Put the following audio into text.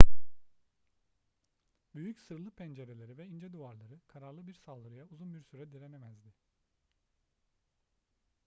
büyük sırlı pencereleri ve ince duvarları kararlı bir saldırıya uzun bir süre direnemezdi